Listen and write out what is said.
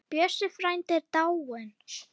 Bjössi frændi er dáinn.